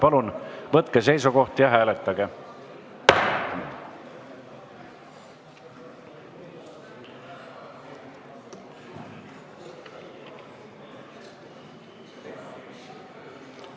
Palun võtke seisukoht ja hääletage!